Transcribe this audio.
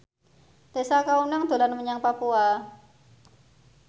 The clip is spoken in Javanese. Tessa Kaunang dolan menyang Papua